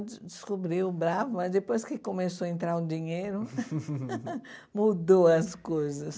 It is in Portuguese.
Ele descobriu, bravo, mas depois que começou a entrar o dinheiro, mudou as coisas.